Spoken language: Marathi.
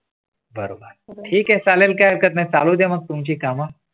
बरोबर ठीक आहेबायल काही हरकत नाही चालू ते मग तुमची कामा.